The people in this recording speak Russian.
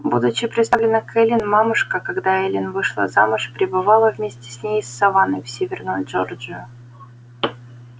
будучи приставлена к эллин мамушка когда эллин вышла замуж прибывала вместе с ней из саванны в северную джорджию